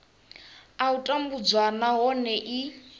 a u tambudzwa nahone i